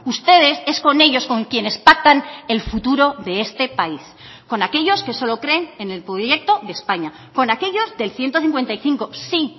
ustedes es con ellos con quienes pactan el futuro de este país con aquellos que solo creen en el proyecto de españa con aquellos del ciento cincuenta y cinco sí